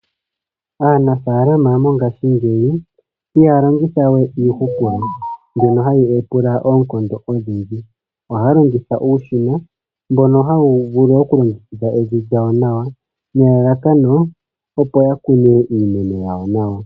Aanafalama mongashingeyi ihaya longitha we iihupulo mbono hayi pula oonkondo odhindji, oha ya longitha uushina mbono ha wu vulu okulongekidha evi nawa nelalakano opo ya kune iimeno yawo nawa.